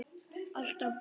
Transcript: Alltaf blíð.